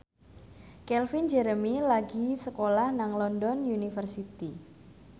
Calvin Jeremy lagi sekolah nang London University